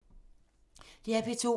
DR P2